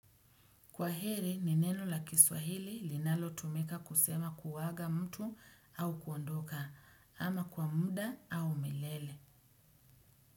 Kwa heri, ni neno la kiswahili linalo tumika kusema kuaga mtu au kuondoka ama kwa muda au milele.